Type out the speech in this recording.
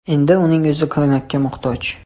Endi uning o‘zi ko‘makka muhtoj.